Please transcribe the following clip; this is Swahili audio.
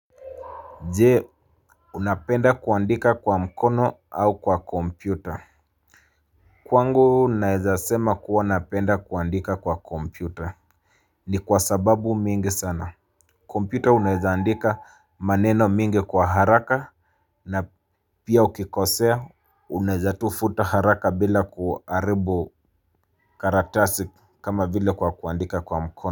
Je unapenda kuandika kwa mkono au kwa kompyuta. Kwangu naeza sema kuwa napenda kuandika kwa kompyuta. Ni kwa sababu mingi sana. Kompyuta unaeza andika maneno mingi kwa haraka na pia ukikosea. Unaeza tu futa haraka bila kuharibu karatasi kama vile kwa kuandika kwa mkono.